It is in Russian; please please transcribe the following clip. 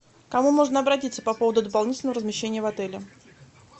к кому можно обратиться по поводу дополнительного размещения в отеле